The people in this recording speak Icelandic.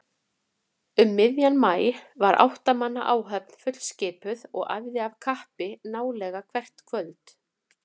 Um miðjan maí var átta manna áhöfn fullskipuð og æfði af kappi nálega hvert kvöld.